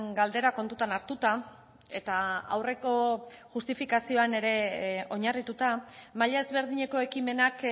galdera kontutan hartuta eta aurreko justifikazioan ere oinarrituta maila ezberdineko ekimenak